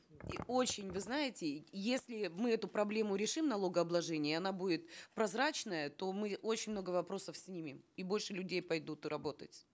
и очень вы знаете если мы эту проблему решим налогообложения это будет прозрачная то мы очень много вопросов снимем и больше людей пойдут работать